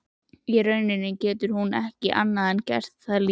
Í rauninni getur hún ekki annað en gert það líka.